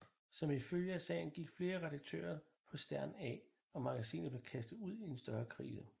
Som følge af sagen gik flere redaktører på Stern af og magasinet blev kastet ud i en større krise